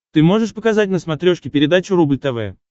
ты можешь показать на смотрешке передачу рубль тв